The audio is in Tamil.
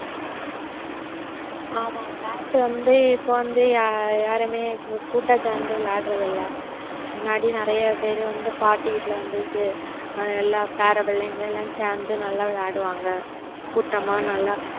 ஆமா விளையாட்டு வந்து இப்ப வந்து யாருமே கூட்டா சேர்ந்து விளையாடறதில்லை, முன்னாடி நிறைய பேர் வந்து பாட்டி வீட்டுல வந்து எல்லா பேர புள்ளைங்க எல்லாம் சேர்ந்து நல்லா விளையாடுவாங்க கூட்டமா நல்லா